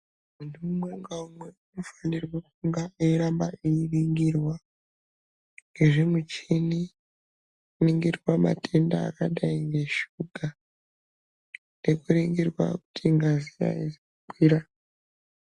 Muntu umwe ngaumwe unofanirwa kunga eiramba einingirwa ngezvimuchimi kuningirwa matemda akadai ngeshuga nekuningirwa kuzi ngazi aizi kukwira.